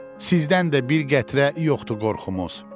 Sizdən də bir qətrə yoxdur qorxumuz.